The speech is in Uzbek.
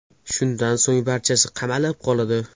Shundan so‘ng barchasi qamalib qoladi.